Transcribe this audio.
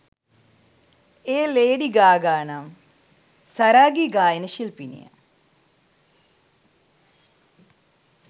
එය Lady Gaga නම් සරාගී ගායන ශිල්පිනිය